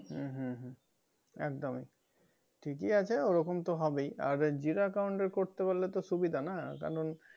উম হুম হুম একদমি ঠিকি আছে ওই রকম তো হবেই আর zero account এর করতে পারলে তো সুবিধা না কারণ